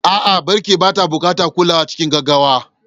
A'a, birki baya buƙatar kulawa cikin gaggawa.